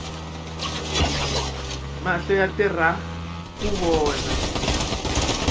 mahlo yatirhaku vona